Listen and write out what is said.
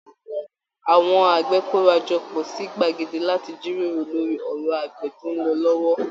Àwọn àgbẹ̀ kóra jọ pọ̀ sí gbàgede láti jíròrò lórí ọ̀rọ̀ àgbẹ̀ tó ń lọ lọ́wọ́